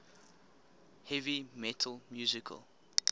heavy metal musical